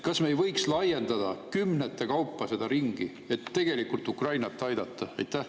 Kas me ei võiks laiendada kümnete kaupa seda ringi, et tegelikult Ukrainat aidata?